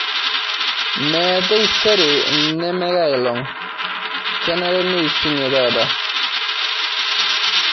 Me taisere neme enkai olong' kenare neushunye taata